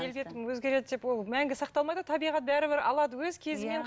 келбетім өзгереді деп ол мәңгі сақталмайды ғой табиғат бәрібір алады өз кезімен